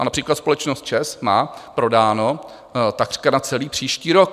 A například společnost ČEZ má prodáno takřka na celý příští rok.